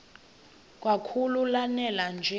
kakhulu lanela nje